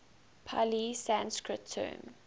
pali sanskrit term